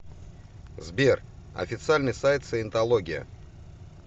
сбер официальный сайт саентология